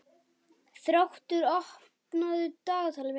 Þróttur, opnaðu dagatalið mitt.